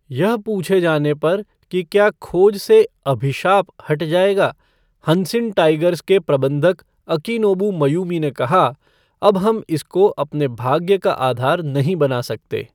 यह पूछे जाने पर कि क्या खोज से 'अभिशाप' हट जाएगा, हंसिन टाइगर्स के प्रबंधक अकिनोबु मयूमी ने कहा, अब हम इस को अपने भाग्य का आधार नहीं बना सकते।